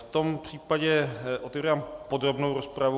V tom případě otevírám podrobnou rozpravu.